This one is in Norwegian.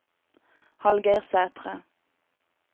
Hallgeir Sæthre